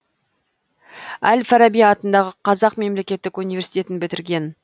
әл фараби атындағы қазақ мемлекеттік университетін бітірген